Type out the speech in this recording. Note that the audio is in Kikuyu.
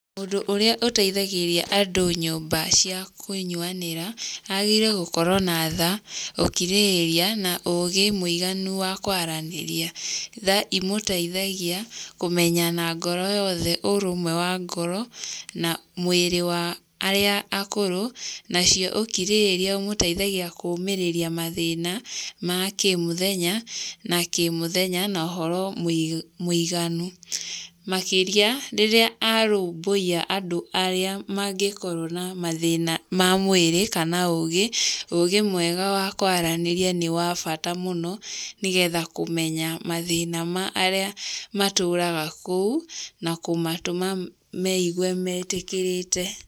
Mũndũ ũrĩa ũteithagia andũ nyũmba cia kũnyuanira agĩrĩirũo gũkorũo na tha, ũkirĩrĩria, na ũũgĩ mũiganu wa kwaranĩria. Tha ĩmũtĩĩria kũmenya na ngoro yothe ũrũmwe wa ngoro na mwĩrĩ wa arĩa akũrũ, nacio ũkirĩrĩria ũmũteithagia kũũmĩrĩria mathĩna ma kĩ mũthenya na kĩ mũthenya na ũhoro mũiganu, makĩria rĩrĩa arũmbũiya andũ arĩa mangĩkorũo na mathĩna ma mwĩrĩ kana ũũgĩ. Ũũgĩ mwega wa kwaranĩria nĩ wa bata mũno nĩ getha kũmenya mathĩna ma arĩa matũũraga kuo na kũmatũma mekũigua metĩkĩrĩkĩte.